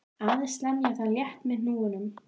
Aðeins lemja það létt með hnúunum.